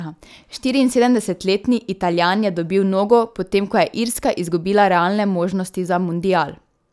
Štiriinsedemdesetletni Italijan je dobil nogo, potem ko je Irska izgubila realne možnosti za mundial.